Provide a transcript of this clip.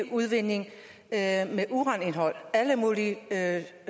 udvinding af uranindhold alle mulige